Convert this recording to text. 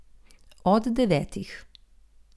Od devetih.